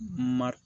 Mar